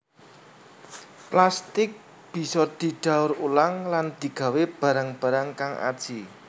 Plastik bisa didaur ulang lan digawé barang barang kang aji